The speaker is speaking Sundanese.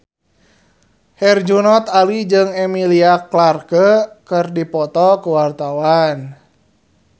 Herjunot Ali jeung Emilia Clarke keur dipoto ku wartawan